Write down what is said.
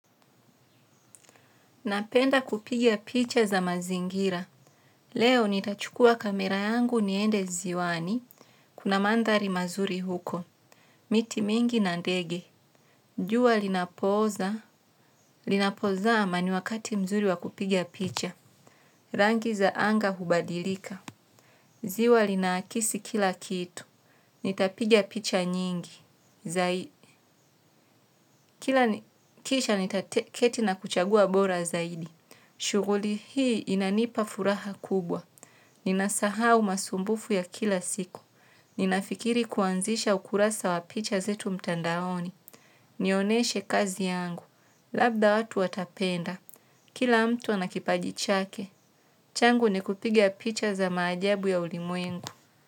Napenda kupiga picha za mazingira. Leo nitachukua kamera yangu niende ziwani. Kuna mandhari mazuri huko. Miti mingi na ndege. Jua linapooza. Linapoza amani wakati mzuri wakupigia picha. Rangi za anga hubadilika. Ziwa lina akisi kila kitu. Nitapiga picha nyingi. Zai kila kisha nitaketi na kuchagua bora zaidi. Shughuli hii inanipa furaha kubwa. Nina sahau masumbufu ya kila siku. Ninafikiri kuanzisha ukurasa wa picha zetu mtandaoni. Nioneshe kazi yangu. Labda watu watapenda. Kila mtu anakipaji chake. Changu ni kupiga picha za maajabu ya ulimwengu.